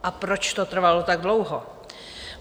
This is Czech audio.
A proč to trvalo tak dlouho?